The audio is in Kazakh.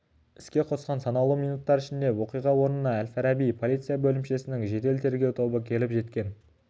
іске қосқан санаулы минуттар ішінде оқиға орнына әл-фараби полиция бөлімшесінің жедел тергеу тобы келіп жеткен